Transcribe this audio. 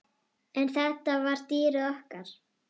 En þetta var dýrið okkar.